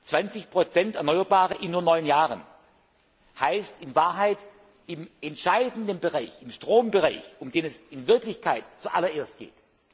wollen. 20 erneuerbare Energiequellen in nur neun Jahren heißt in Wahrheit, im entscheidenden Bereich, im Strombereich, um den es in Wirklichkeit zuallererst